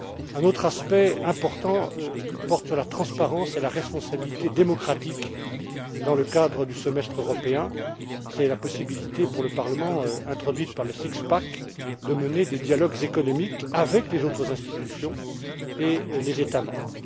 Un autre aspect important porte sur la transparence et la responsabilité démocratique dans le cadre du semestre européen c'est la possibilité pour le Parlement introduite par le six pack de mener des dialogues économiques avec les autres institutions et les États membres.